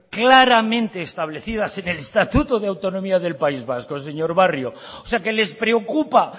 claramente establecidas en el estatuto de autonomía del país vasco señor barrio o sea que les preocupa